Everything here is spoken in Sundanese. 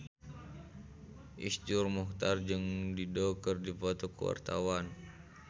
Iszur Muchtar jeung Dido keur dipoto ku wartawan